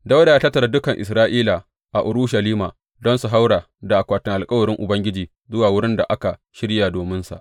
Dawuda ya tattara dukan Isra’ila a Urushalima don su haura da akwatin alkawarin Ubangiji zuwa wurin da aka shirya dominsa.